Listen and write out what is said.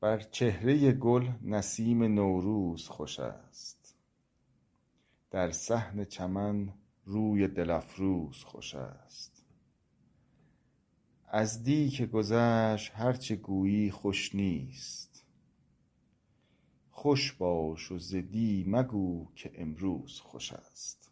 بر چهرۀ گل نسیم نوروز خوش است در صحن چمن روی دل افروز خوش است از دی که گذشت هر چه گویی خوش نیست خوش باش و ز دی مگو که امروز خوش است